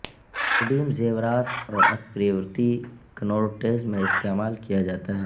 روڈیم زیورات اور اتپریورتی کنورٹرز میں استعمال کیا جاتا ہے